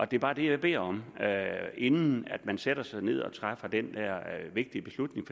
det er bare det jeg beder om inden man sætter sig ned og træffer den vigtige beslutning